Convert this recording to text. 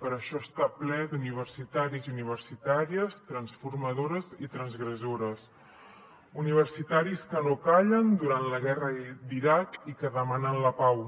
per això està ple d’universitaris i universitàries transformadores i transgressores universitaris que no callen durant la guerra d’iraq i que demanen la pau